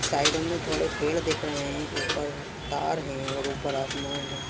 Side में बड़े पेड़ दिख रहे हैं। ऊपर तार है और उपर आसमान है।